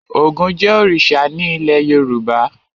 Ògún jẹ́ òrìṣà ní ilé Yorùbá.